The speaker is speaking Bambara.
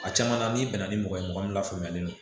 A caman na n'i bɛnna ni mɔgɔ ye mɔgɔ min lafaamuyalen don